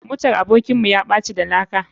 Motar abokin mu yaɓaci da laka.